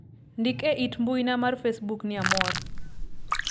ndik e it mbuina mar facebook ni amor